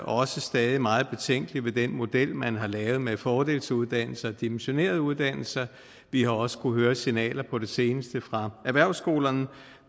også stadig meget betænkelige ved den model man har lavet med fordelsuddannelser og dimensionerede uddannelser vi har også kunnet høre signaler på det seneste fra erhvervsskolerne